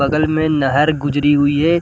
बगल में नहर गुजरी हुई है।